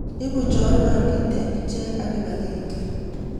Ibu chorwandit eng' ichek ak kibagenge